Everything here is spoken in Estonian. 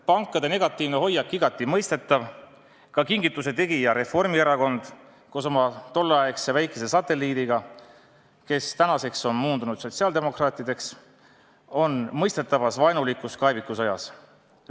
Pankade negatiivne hoiak on igati mõistetav, ka kingituse tegija Reformierakond koos oma tolleaegse väikese satelliidiga, kes tänaseks on moondunud sotsiaaldemokraatideks, on mõistetavas vaenulikus kaevikusõjas.